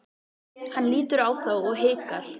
Hann lítur á þá og hikar.